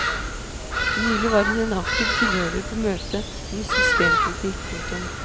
Nylig var hun en aktiv tilhører på møtet om systemkritikk. punktum